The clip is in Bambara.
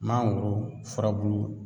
Mangoro furabulu